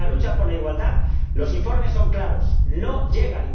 Y en la lucha por la igualdad, los informes son claros no llegan.